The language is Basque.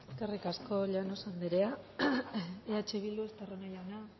eskerrik asko llanos anderea eh bildu estarrona jauna